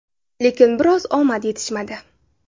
Lekin biroz omad yetishmadi.